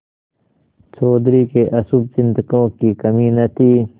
चौधरी के अशुभचिंतकों की कमी न थी